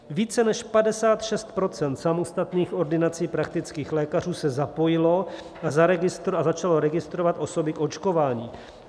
Více než 56 % samostatných ordinací praktických lékařů se zapojilo a začalo registrovat osoby k očkování.